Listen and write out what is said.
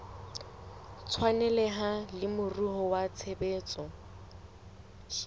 tshwaneleha le moruo wa tshebetso